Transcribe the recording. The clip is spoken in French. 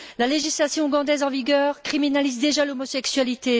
La législation ougandaise en vigueur criminalise déjà l'homosexualité.